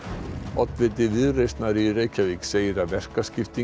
oddviti Viðreisnar í Reykjavík segir að verkaskipting